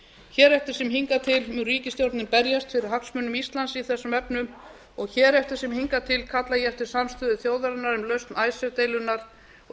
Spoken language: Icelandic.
hér eftir sem hingað til mun ríkisstjórnin berjast fyrir hagsmunum íslands í þessum efnum og hér eftir sem hingað til kalla ég eftir samstöðu þjóðarinnar um lausn icesave deilunnar og